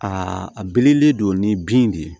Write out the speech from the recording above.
Aa a bilenlen don ni bin de ye